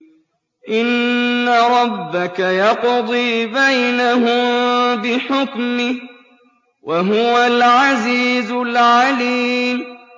إِنَّ رَبَّكَ يَقْضِي بَيْنَهُم بِحُكْمِهِ ۚ وَهُوَ الْعَزِيزُ الْعَلِيمُ